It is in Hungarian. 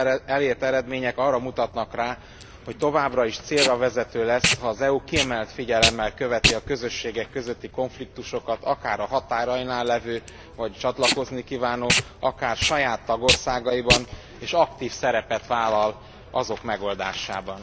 Az itt elért eredmények arra mutatnak rá, hogy továbbra is célravezető lesz, ha az EU kiemelt figyelemmel követi a közösségek közötti konfliktusokat akár a határainál lévő vagy csatlakozni kívánó országokban, akár saját tagországaiban, és aktív szerepet vállal azok megoldásában.